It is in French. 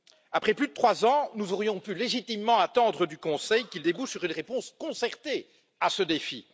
Après plus de trois ans, nous aurions pu légitimement attendre du Conseil qu'il apporte une réponse concertée à ce défi.